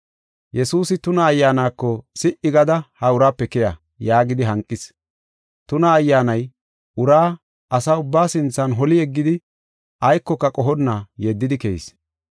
Yesuusi tuna ayyaanako, “Si7i gada ha uraape keya” yaagidi hanqis. Tuna ayyaanay uraa asaa ubbaa sinthan holi yeggidi aykoka qohonna yeddidi keyis.